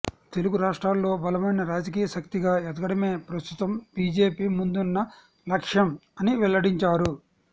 తెలుగు రాష్ట్రాల్లో బలమైన రాజకీయశక్తిగా ఎదగడమే ప్రస్తుతం బీజేపీ ముందున్న లక్ష్యం అని వెల్లడించారు